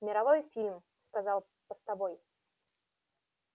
мировой фильм сказал постовой